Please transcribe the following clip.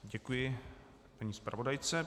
Děkuji paní zpravodajce.